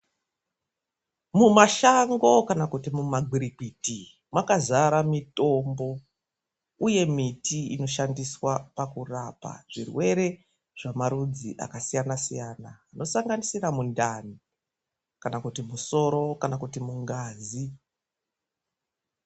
Mumashango kana kuti mumagwirikwiti mwakazara mitombo uye miti inoshandiswa pakurapa zvirwere zvemarudzi akasiyana siyana, zvinosanganisira mundani kana kuti musoro kana kuti mungazi.